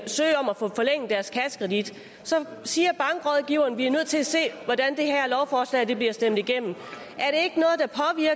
søge om at få forlænget deres kassekredit siger bankrådgiveren at de er nødt til at se hvordan det her lovforslag bliver stemt igennem